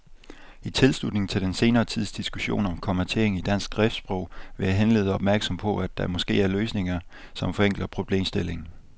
I tilslutning til den senere tids diskussion om kommatering i dansk skriftsprog vil jeg henlede opmærksomheden på, at der måske er løsninger, som forenkler problemstillingen.